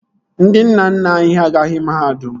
Ndị nna nna anyị ha agaghị mahadum